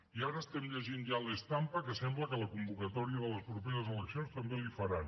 i ara estem llegint ja a la stampa que sembla que la convocatòria de les properes eleccions també l’hi faran